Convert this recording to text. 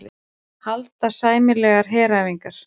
Halda sameiginlegar heræfingar